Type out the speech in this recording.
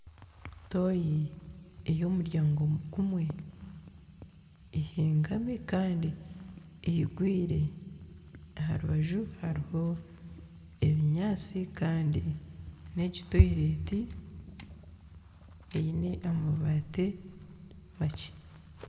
Toyi eyomuryango gumwe ehengami kandi eyigwire aharubaju hariho ebinyaatsi Kandi negi toyireti eine amabaati makye.